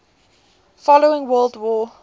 following world war